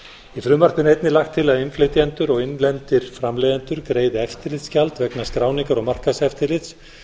í frumvarpinu er einnig lagt að innflytjendur og innlendir framleiðendur greiði eftirlitsgjald vegna skráningar og markaðseftirlits